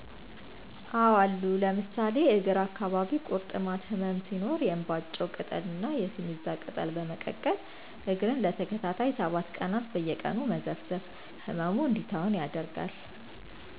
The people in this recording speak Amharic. አዎ አሉ ለምሳሌ እግር አካባቢ ቂርጥማት ህመም ሲኖር የእንባጮ ቅጠል ና የሲሚዛ ቅጠል በመቀቀል እግርን ለተከታታይ 7 ቀናት በየቀኑ መዘፍዘፍ ህመሙ እንዲተወን ያደርጋል።